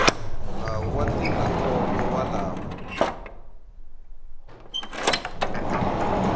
nawu wa ndzindzakhombo wa lava